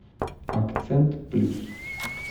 акцент плюс